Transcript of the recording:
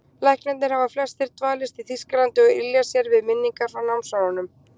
Læknarnir hafa flestir dvalist í Þýskalandi og ylja sér við minningar frá námsárunum.